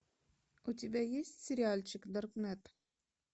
у тебя есть сериальчик даркнет